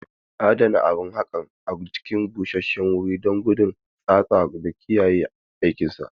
Adana abun haƙan a cikin guri busashshewuri don hana tsatsa da kiyaye aikinsa.